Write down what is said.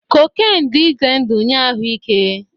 Cocaine dị ize ndụ nye ahụ ike